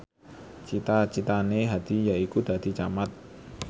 cita citane Hadi yaiku dadi camat